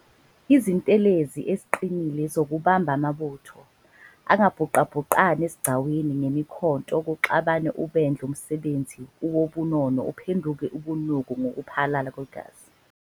izintelezi eziqinile zokubamba amabutho, angabhuqabhuqani esigcawini ngemikhonto kuxabane ubendle umsebenzi wobunono uphenduke ubunuku ngokuphalala kwegazi.